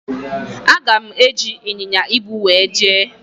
Aga m eji ịnyịnya ibu wee jee.